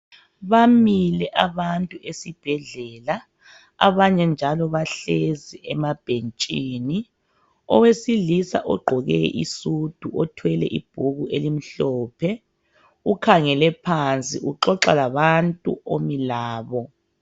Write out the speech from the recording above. Bamile abantu esibhedlela abanye njalo bahlezi emabhentshini, owesilisa ogqoke isudu othwele ibhuku elimhlophe ukhangele phansi uxoxa labantu omi labo.